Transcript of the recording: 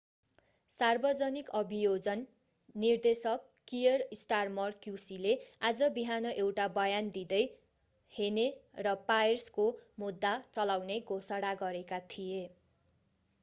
सार्वजनिक अभियोजन निर्देशक कियर स्टारमर क्युसीले आज बिहान एउटा बयान दिँदै hhne र pryce को मुद्दा चलाउने घोषणा गरेका थिए